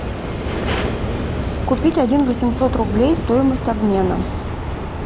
купить один восемьсот рублей стоимость обмена